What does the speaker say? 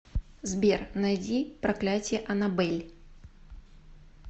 сбер найди проклятье анабель